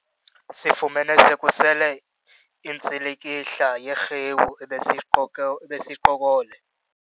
Sifumene sekusele intsilikihla yerhewu ebiseyiqoko ebiseyiqokole.